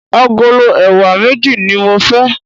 Agolo ẹ̀wà méjì ní mo fẹ́.